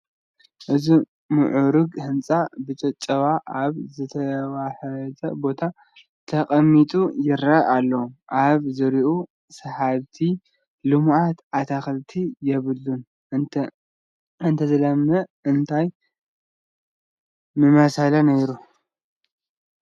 እዚ ምዑሩግ ህንፃ ብጨጨዋ ኣብ ዝተዋሕጠ ቦታ ተቐሚጡ ይርአ ኣሎ፡፡ ኣብ ዙሪኡ ሰሓብቲ ልሙዓት ኣትክልቲ የብሉን፡፡ እንተዝለምዕስ እንታይ ምመሰለ ነይሩ?